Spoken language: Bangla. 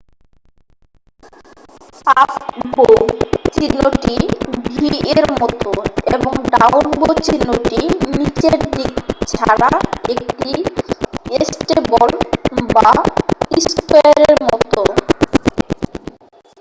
"""আপ বো" চিহ্নটি v এর মতো এবং "ডাউন বো চিহ্নটি" নীচের দিক ছাড়া একটি স্টেপল বা স্কোয়ারের মতো।